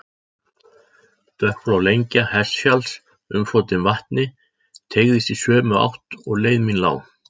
Dökkblá lengja Hestfjalls, umflotin vatni, teygðist í sömu átt og leið mín lá.